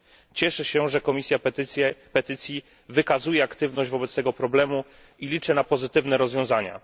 Cieszę się, że Komisja Petycji wykazuje aktywność wobec tego problemu, i liczę na pozytywne rozwiązania.